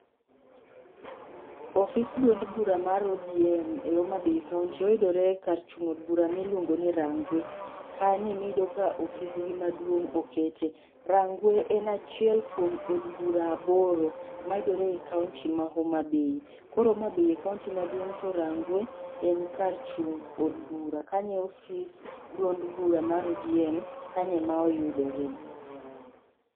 Ofis duond bura mar ODM e Homa Bay kaunti oyudore kar chung' od bura miluongo ni Rangwe. Kanye emiyudo ka ofis gi maduong' okete. Rangwe en achiel kuom od bura aboro, mayudore e kaunti ma Homa Bay. Koro Homa Bay e kaunti maduong' to Rangwe en kar chung' od bura, kanyo e ofis duond bura ma ODM, kanyo ema oyudore